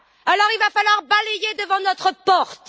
Alors, il va falloir balayer devant notre porte.